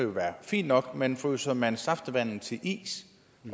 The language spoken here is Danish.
jo være fint nok men fryser man saftevand til is